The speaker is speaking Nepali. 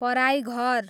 पराइघर